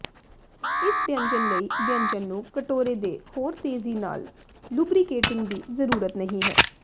ਇਸ ਵਿਅੰਜਨ ਲਈ ਵਿਅੰਜਨ ਨੂੰ ਕਟੋਰੇ ਦੇ ਹੋਰ ਤੇਜ਼ੀ ਨਾਲ ਲੁਬਰੀਕੇਟਿੰਗ ਦੀ ਜ਼ਰੂਰਤ ਨਹੀਂ ਹੈ